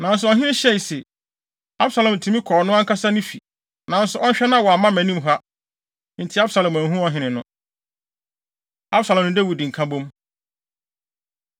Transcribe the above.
Nanso ɔhene hyɛe se, “Absalom tumi kɔ ɔno ankasa ne fi, nanso ɔnhwɛ na wamma mʼanim ha.” Enti Absalom anhu ɔhene no. Absalom Ne Dawid Nkabom